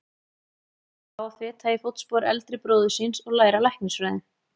Ákvað hann þá að feta í fótspor eldri bróður síns og læra læknisfræði.